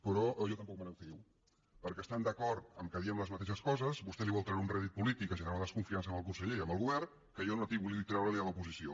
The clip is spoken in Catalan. però jo tampoc me’n fio perquè estant d’acord que diem les mateixes coses vostè vol treure un rèdit polític a generar una desconfiança en el conseller i en el govern que jo no vull treure a l’oposició